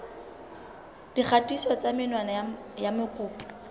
dikgatiso tsa menwana ya mokopi